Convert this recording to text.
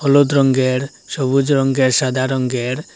হলুদ রঙ্গের সবুজ রঙ্গের সাদা রঙ্গের--